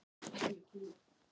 Elfráður, er opið í Kvikk?